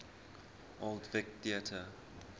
old vic theatre